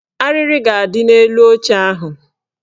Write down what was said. Arịrị ga-adị n'elu oche ahụ